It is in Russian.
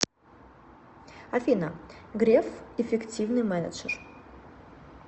афина греф эффективный менеджер